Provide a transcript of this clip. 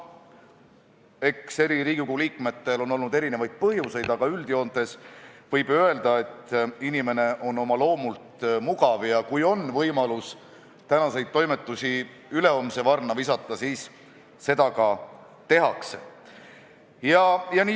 Eks Riigikogu liikmetel on olnud erinevaid põhjuseid, aga üldjoontes võib öelda, et inimene on oma loomult mugav – kui on võimalus tänaseid toimetusi ülehomse varna visata, siis seda ka tehakse.